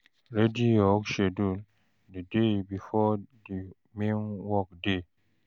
Ready your work schedule di day before di main work day